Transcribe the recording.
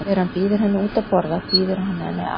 Þegar hann býður henni út að borða býður hann henni á